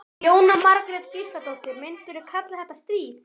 Jóhanna Margrét Gísladóttir: Myndirðu kalla þetta stríð?